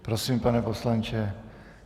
Prosím, pane poslanče.